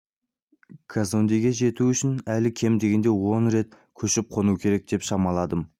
казондеге жету үшін әлі кем дегенде он рет көшіп қону керек деп шамаладым